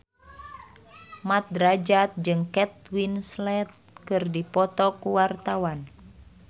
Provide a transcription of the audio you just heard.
Mat Drajat jeung Kate Winslet keur dipoto ku wartawan